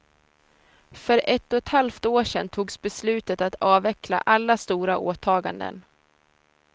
För ett och ett halvt år sen togs beslutet att avveckla alla stora åtaganden.